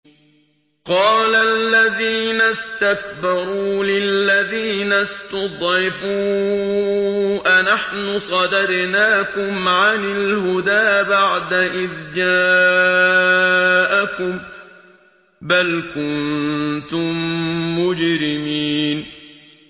قَالَ الَّذِينَ اسْتَكْبَرُوا لِلَّذِينَ اسْتُضْعِفُوا أَنَحْنُ صَدَدْنَاكُمْ عَنِ الْهُدَىٰ بَعْدَ إِذْ جَاءَكُم ۖ بَلْ كُنتُم مُّجْرِمِينَ